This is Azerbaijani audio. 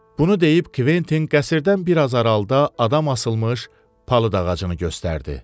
Bunu deyib Kventin qəsrdən bir az aralıda adam asılmış palıd ağacını göstərdi.